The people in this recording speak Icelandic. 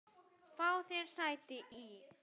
Frá því er sagt í